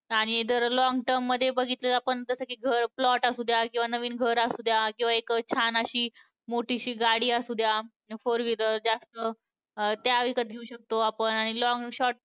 आणि जर long term मध्ये बघितलं तर आपण जसं की घर, plot असुद्या, किंवा नवीन घर असुद्या, किंवा एक छान अशी मोठीशी गाडी असुद्या four wheeler. जास्त त्या विकत घेऊ शकतो आपण आणि long~ short